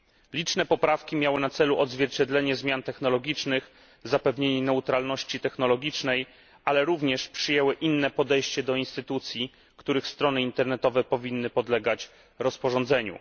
Liczne poprawki miały na celu odzwierciedlenie zmian technologicznych, zapewnienie neutralności technologicznej, ale również przyjęły inne podejście do instytucji, których strony internetowe powinny podlegać rozporządzeniu.